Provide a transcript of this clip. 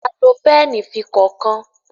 a lò Pẹ́ẹ̀nì fí kọkan.